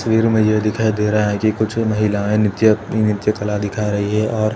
तस्वीर मे ये दिखाई दे रहा है की कुछ महिलायें नृत्यया नृत्य कला दिखा रही है और --